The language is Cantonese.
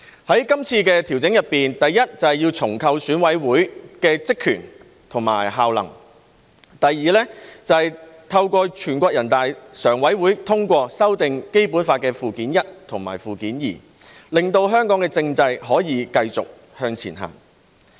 在今次的調整中，第一，是重構選舉委員會的職權和效能；第二，是透過全國人大常委會通過修訂《基本法》附件一和附件二，令香港政制可以繼續向前行。